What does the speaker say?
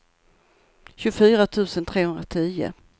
tjugofyra tusen trehundratio